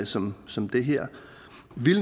som som den her